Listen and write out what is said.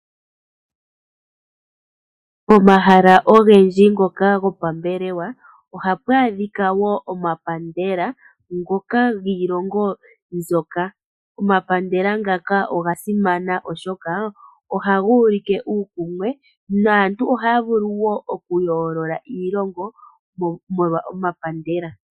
Omahala ogendji ngoka gopambelewa ohapu adhika wo omapandela ngoka giilongo mbyoka. Omapandela ngaka oga simana oshoka ohaga ulike uukumwe naantu ohaya vulu oku yoolola iilongo molwa omapandela